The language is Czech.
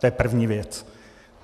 To je první věc.